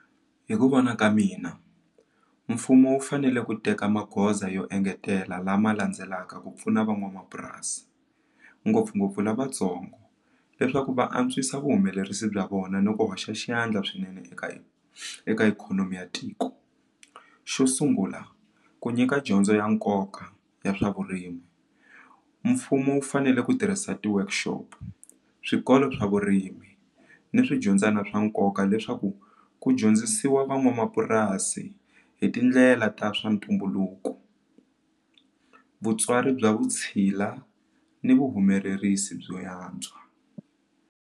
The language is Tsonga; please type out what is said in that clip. Hi ku vona ka mina mfumo wu fanele ku teka magoza yo engetela lama landzelaka ku pfuna van'wamapurasi ngopfungopfu lavatsongo leswaku va antswisa vuhumelerisi bya vona ni ku hoxa xandla swinene eka eka ikhonomi ya tiko xo sungula ku nyika dyondzo ya nkoka ya swa vurimi mfumo wu fanele ku tirhisa ti workshop swikolo swa vurimi ni swi dyondzana swa nkoka leswaku ku dyondzisiwa van'wamapurasi hi tindlela ta swa ntumbuluko vutswari bya vutshila ni vuhumelerisi byo yantswa.